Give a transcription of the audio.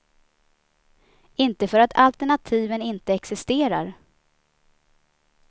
Inte för att alternativen inte existerar.